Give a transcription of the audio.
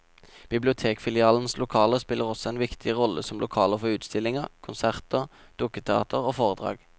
Bibliotekfilialenes lokaler spiller også en viktig rolle som lokaler for utstillinger, konserter, dukketeater og foredrag.